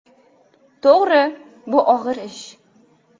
To‘g‘ri, bu og‘ir ish.